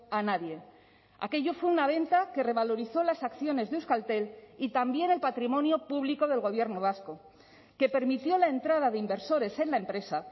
a nadie aquello fue una venta que revalorizó las acciones de euskaltel y también el patrimonio público del gobierno vasco que permitió la entrada de inversores en la empresa